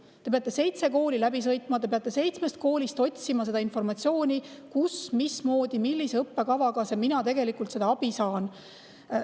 Ta peab seitse kooli läbi sõitma, ta peab seitsmest koolist otsima informatsiooni, kus, mismoodi, millise õppekavaga seda abi saab.